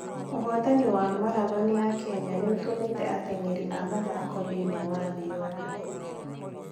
Ũhootani wa marathoni ya Kenya nĩ ũtũmĩte ateng'eri a mathaako thĩinĩ wa thĩ yothe.